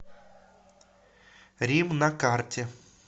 рим на карте